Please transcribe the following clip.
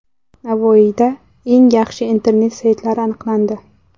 Navoiyda eng yaxshi internet saytlari aniqlandi.